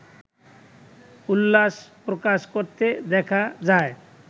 উল্লাস প্রকাশ করতে দেখা যায়